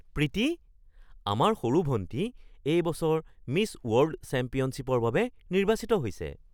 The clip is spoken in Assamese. প্ৰীতি! আমাৰ সৰু ভণ্টী এই বছৰ মিছ ৱৰ্ল্ড চেম্পিয়নশ্বিপৰ বাবে নিৰ্বাচিত হৈছে!